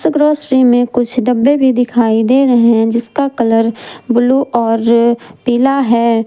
Grocery मे कुछ डब्बे भी दिखाई दे रहे हैं जिसका कलर ब्लू और पीला है।